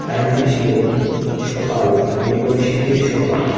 Time -টি ছিল সকাল একদম শীতের সকাল।